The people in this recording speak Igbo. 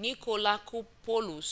nikolakopoulos